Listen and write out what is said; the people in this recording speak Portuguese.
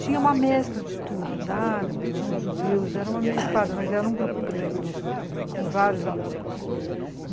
Tinha uma mescla de todos, árabes, tinha os judeus, era uma mescla, mas era um grupo grande, com vários alunos.